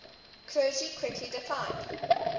clergy quickly declined